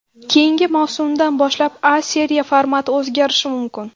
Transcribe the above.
Keyingi mavsumdan boshlab A Seriya formati o‘zgarishi mumkin.